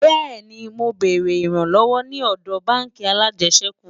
bẹẹni, mọ bèrè ìran lówó ní òdò bánkì alàjesèkú